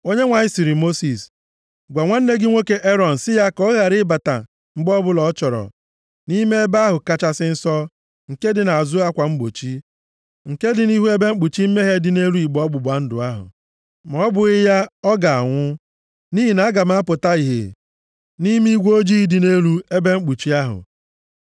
Onyenwe anyị sịrị Mosis, “Gwa nwanne gị nwoke Erọn si ya ka ọ ghara ịbata mgbe ọbụla ọ chọrọ, nʼime Ebe ahụ Kachasị Nsọ nke dị nʼazụ akwa mgbochi, nke dị nʼihu ebe mkpuchi mmehie dị nʼelu igbe ọgbụgba ndụ ahụ, ma ọ bụghị ya ọ ga-anwụ. Nʼihi na aga m apụta ìhè nʼime igwe ojii dị nʼelu ebe mkpuchi ahụ.